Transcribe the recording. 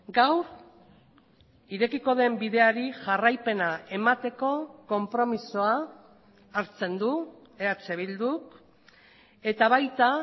gaur irekiko den bideari jarraipena emateko konpromisoa hartzen du eh bilduk eta baita